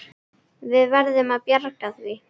Við verðum að bjarga því.